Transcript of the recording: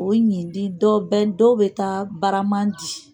O ɲidi dɔw bɛ, dɔw bɛ taa barama di